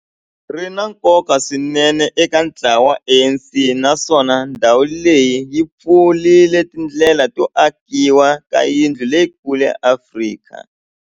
ri na nkoka swinene eka ntlawa wa ANC, naswona ndhawu leyi yi pfurile tindlela to akiwa ka yindlu leyikulu ya Afrika